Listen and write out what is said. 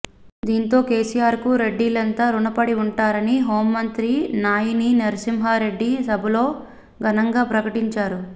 దీంతో కెసిఆర్ కు రెడ్డీలంతా రుణపడి ఉంటారని హోంమంత్రి నాయిని నర్సింహ్మారెడ్డి సభలో ఘనంగా ప్రకటించారు